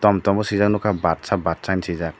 tom tom sijakh nogkha badsha badsha hing sijak.